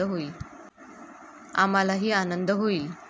आम्हालाही आनंद होईल.